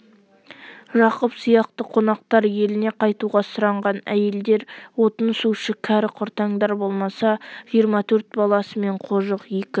жақып сияқты қонақтар еліне қайтуға сұранған әйелдер отын-сушы кәрі-құртаңдар болмаса жиырма төрт баласы мен қожық екі